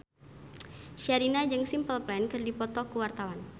Sherina jeung Simple Plan keur dipoto ku wartawan